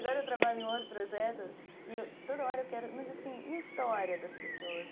Agora eu trabalho em outro projeto e toda hora eu quero... Mas assim, e a história das pessoas?